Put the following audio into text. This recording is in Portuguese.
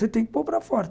Você tem que pôr para fora.